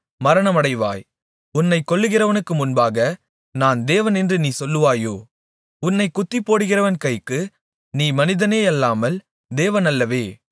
உன்னைக் கொல்லுகிறவனுக்கு முன்பாக நான் தேவனென்று நீ சொல்வாயோ உன்னைக் குத்திப்போடுகிறவன் கைக்கு நீ மனிதனேயல்லாமல் தேவனல்லவே